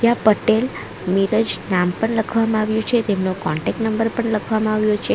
પટેલ નીરજ નામ પણ લખવામાં આવ્યું છે તેમનો કોન્ટેક નંબર પણ લખવામાં આવ્યો છે.